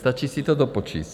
Stačí si to dopočítat.